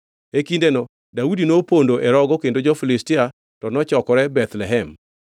E kindeno Daudi nopondo e rogo kendo jo-Filistia to nochokore Bethlehem.